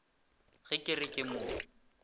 ge ke re ke mo